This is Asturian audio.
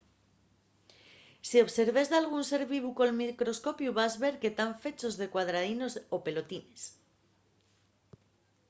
si observes dalgún ser vivu col microscopiu vas ver que tán fechos de cuadradinos o pelotines